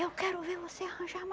Eu quero ver você arranjar